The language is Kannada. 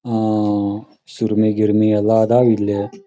ಆಂ ಸುರ್ಮಿ ಗಿರ್ಮಿ ಎಲ್ಲ ಅದಾವಿಲ್ಲೆ--